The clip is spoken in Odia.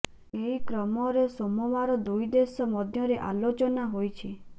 ଏହି କ୍ରମରେ ସୋମବାର ଦୁଇ ଦେଶ ମଧ୍ୟରେ ଆଲୋଚନା ହୋଇଛି